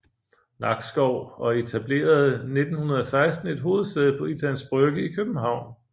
Nakskov og etablerede 1916 et hovedsæde på Islands Brygge i København